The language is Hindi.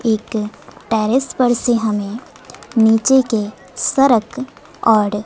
एक टेरेस पर से हमें नीचे के सरक और--